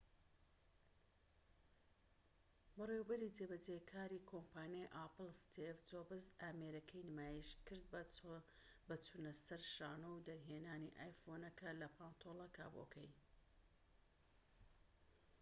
بەڕێوەبەری جێبەجێکاری کۆمپانیای ئاپڵ ستیڤ جۆبس ئامێرەکەی نمایشکرد بە چونەسەر شانۆ و دەرهێنانی ئایفۆنەکە لە پانتۆلە کابۆکەی